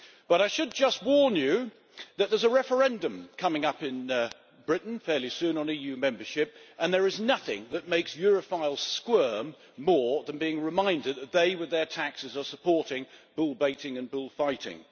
But I should just warn you that there is a referendum coming up in Britain fairly soon on EU membership, and there is nothing that makes Europhiles squirm more than being reminded that they, with their taxes, are supporting bull baiting and bullfighting.